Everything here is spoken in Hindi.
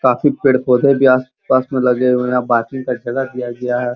काफी पेड़-पौधे भी आस-पास में लगे हुए हैं। बाकी का जगह दिया गया है।